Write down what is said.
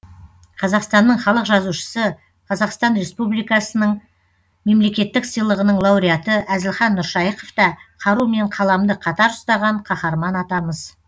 қазақстанның халық жазушысы қазақстан республикасының мемлекеттік сыйлығының лауреаты әзілхан нұршайықов та қару мен қаламды қатар ұстаған қаһарман атамыз